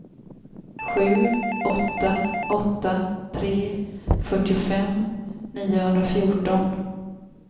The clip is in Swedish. sju åtta åtta tre fyrtiofem niohundrafjorton